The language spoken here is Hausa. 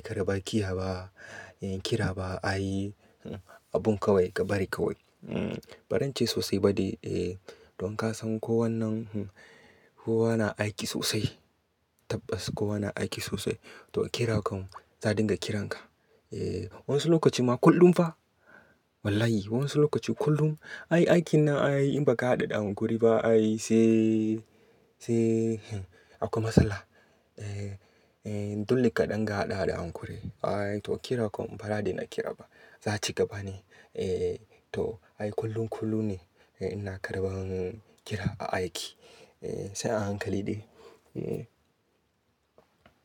ka da bakiya ba, kira ba a yi abun kawai ka bari kawai. Ba zan ce sosai ba de. Don ka san ko wannan kowa na aiki sosai, tabbas kowa na aiki sosai. To kira kam za, a dinga kiran ka. Wani lokaci ma kullum fa. Wallahi wani lokaci kullum. Aiki na in ba ka haɗa da hankuri ba sai akwai matsala. Dole ka ɗan ga haɗa da hankuri. To kira kam bara daina kira ba za ci gaba ne. To ai kullum kullum ne ina karɓan kira a aiki sai a hankali de.